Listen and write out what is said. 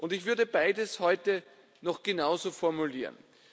Ich würde beides heute noch genauso formulieren.